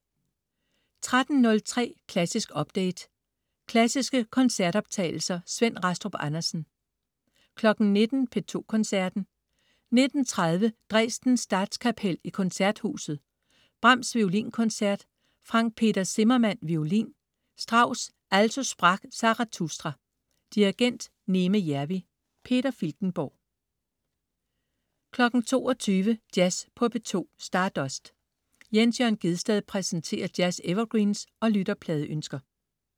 13.03 Klassisk update. Klassiske koncertoptagelser. Svend Rastrup Andersen 19.00 P2 Koncerten. 19.30 Dresden Statskapel i Koncerthuset. Brahms: Violinkoncert. Frank Peter Zimmermann, violin. Strauss: Also sprach Zarathustra. Dirigent: Neeme Järvi. Peter Filtenborg 22.00 Jazz på P2. Stardust. Jens Jørn Gjedsted præsenterer jazz-evergreens og lytterpladeønsker